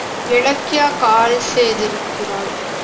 Ilakkiya call செய்து இருக்கிறாள்